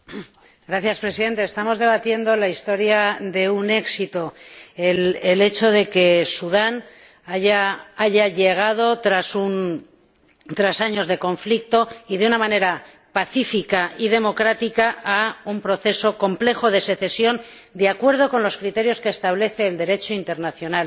Señor Presidente, estamos debatiendo la historia de un éxito, el hecho de que Sudán haya llegado tras años de conflicto y de una manera pacífica y democrática a un proceso complejo de secesión de acuerdo con los criterios que establece el Derecho internacional